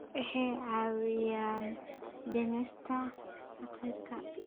Waxay caawiyaan dhimista faqriga.